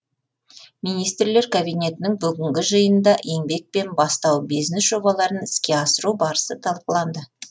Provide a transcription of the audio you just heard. министрлер кабинетінің бүгінгі жиынында еңбек пен бастау бизнес жобаларын іске асыру барысы талқыланды